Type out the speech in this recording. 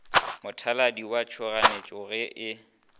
mothalading wa tšhoganetšo ge e